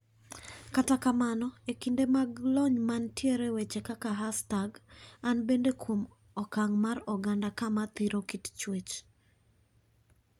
Kata kamano e kinde mag lony man tiere weche kaka hastag an bende kuom okang mar oganda kama thiro kit Chuech.